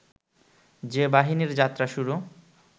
যে বাহিনীর যাত্রা শুরু